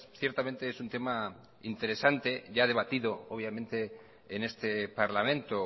ciertamente es un tema interesante ya debatido obviamente en este parlamento